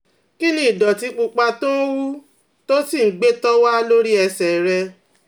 Kí ni ìdọ̀tí pupa tó ń hù tó sì ń gbẹ tó wà lórí ẹsẹ̀ rẹ̀?